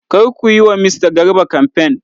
Kar ku yi wa mista Garba kamfen.!